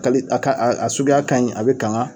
Ka bi a a suguya kaɲi a bi kanga